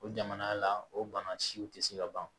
O jamana la o bana siw tɛ se ka ban